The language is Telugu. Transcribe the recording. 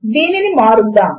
దీనిని మారుద్దాము